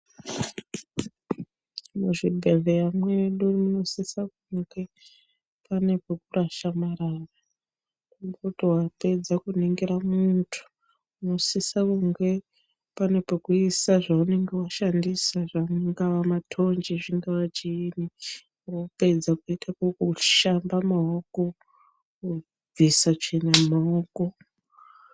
Muzvibhedhleya mwedu munosisa kunge pane pekurasha marara. Tomboti wapedza kuringira muntu, unosisa kunge pane pekuisa zveunenge washandisa angava mathonje, zvingava chiini. Wapedza kuita ukoko woshamba maoko kubvisa tsvina mumaoko.